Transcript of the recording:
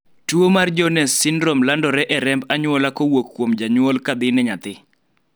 tuo mar Jones syndrome landore e remb anyuola kowuok kuom janyuol kadhi ne nyathi